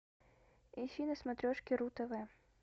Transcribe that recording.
ищи на смотрешке ру тв